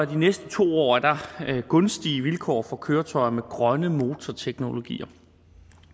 de næste to år er gunstige vilkår for køretøjer med grønne motorteknologier